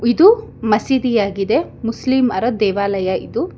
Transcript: ಇದು ಮಸೀದಿಯಾಗಿದೆ ಮುಸ್ಲಿಮರ ದೇವಾಲಯ ಇದು.